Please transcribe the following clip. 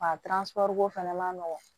ko fɛnɛ ma nɔgɔn